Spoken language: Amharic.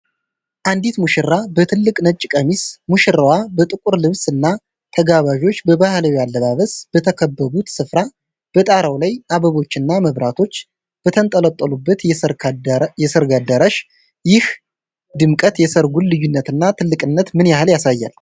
አንዲት ሙሽራ በትልቅ ነጭ ቀሚስ፣ ሙሽራው በጥቁር ልብስ እና ተጋባዦች በባህላዊ አለባበስ በተከበቡበት ስፍራ፣ በጣራው ላይ አበቦችና መብራቶች በተንጠለጠሉበት የሰርግ አዳራሽ፣ ይህ ድምቀት የሠርጉን ልዩነትና ትልቅነት ምን ያህል ያሳያል?